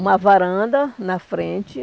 uma varanda na frente.